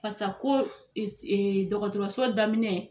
Parisa ko dɔkɔtɔrɔso daminɛ